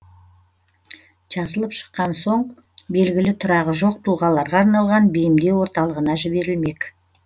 жазылып шыққан соң белгілі тұрағы жоқ тұлғаларға арналған бейімдеу орталығына жіберілмек